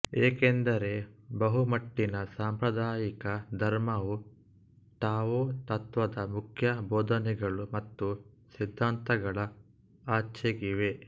ಏಕೆಂದರೆ ಬಹುಮಟ್ಟಿನ ಸಾಂಪ್ರದಾಯಿಕ ಧರ್ಮವು ಟಾವೊ ತತ್ತ್ವದ ಮುಖ್ಯ ಬೋಧನೆಗಳು ಮತ್ತು ಸಿದ್ಧಾಂತಗಳ ಆಚೆಗಿವೆ